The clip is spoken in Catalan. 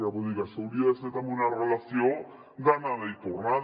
vull dir que això hauria de ser també una relació d’anada i tornada